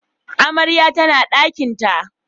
Amarya tana dakinta